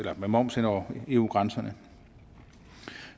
moms henover eu grænserne